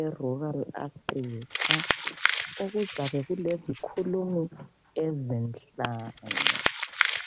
eRural Africa ozabe ulezikhulumi ezinhlanu.